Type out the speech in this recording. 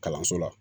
Kalanso la